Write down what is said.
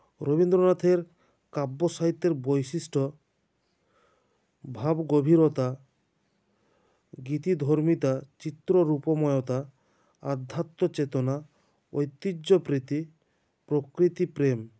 রবীন্দ্রনাথের কাব্য সাহিত্যের বৈশিষ্ট্য ভাবগভীরতা গীতিধর্মীতা চিত্ররূপময়তা আধ্যাত্মচেতনা ঐতিহ্যপ্রীতি প্রকৃতিপ্রেম